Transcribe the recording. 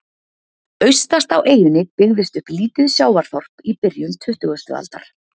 Austast á eyjunni byggðist upp lítið sjávarþorp í byrjun tuttugustu aldar.